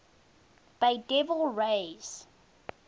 bay devil rays